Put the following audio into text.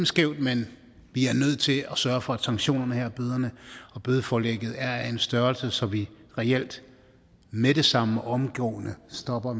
skævt men vi er nødt til at sørge for at sanktionerne og bødeforlæggene er af en størrelse så vi reelt med det samme og omgående stopper